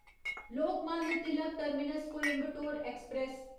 Lokmanya Tilak terminus Coimbatore express